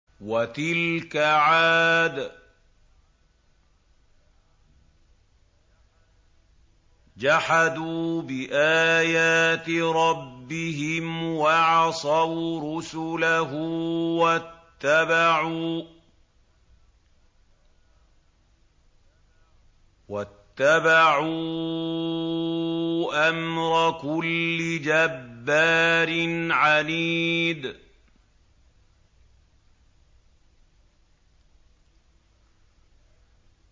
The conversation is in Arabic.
وَتِلْكَ عَادٌ ۖ جَحَدُوا بِآيَاتِ رَبِّهِمْ وَعَصَوْا رُسُلَهُ وَاتَّبَعُوا أَمْرَ كُلِّ جَبَّارٍ عَنِيدٍ